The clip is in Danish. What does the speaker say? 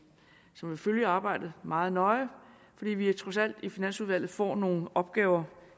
som vil følge arbejdet meget nøje fordi vi trods alt i finansudvalget får nogle opgaver